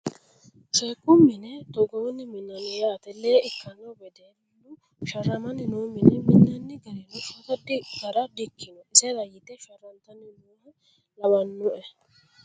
Sheekku mine Togoonni minnanni yaate. Lee ikkanno wedellu sharramanni no mine minanni garino shota gara dikkino isera yite sharrantannoha lawannoe.